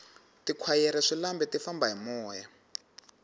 tikhwayere swilambe ti famba hi moya